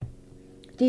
DR1